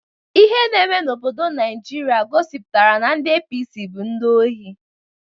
Ihe na eme n'obodo Naijiria gosipụtara na ndị APC bụ ndị ohi.